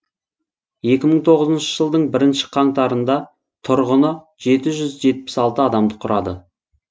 екі мың тоғызыншы жылдың бірінші қаңтарында тұрғыны жеті жүз жетпіс алты адамды құрады